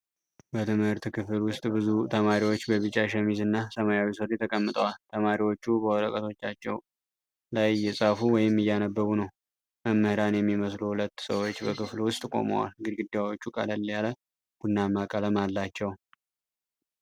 በትምህርት ክፍል ውስጥ ብዙ ተማሪዎች በቢጫ ሸሚዝና ሰማያዊ ሱሪ ተቀምጠዋል። ተማሪዎቹ በወረቀቶቻቸው ላይ እየጻፉ ወይም እያነበቡ ነው። መምህራን የሚመስሉ ሁለት ሰዎች በክፍሉ ውስጥ ቆመዋል። ግድግዳዎቹ ቀለል ያለ ቡናማ ቀለም አላቸው።